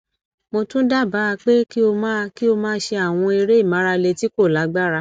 mo tún dábàá pé kí o máa kí o máa ṣe àwọn eré ìmárale tí kò lágbára